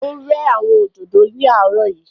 Ó rẹ́ àwọn òdòdó láàrọ̀ yìí